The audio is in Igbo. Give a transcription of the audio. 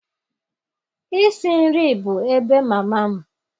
Isi nri bụ ebe mama m.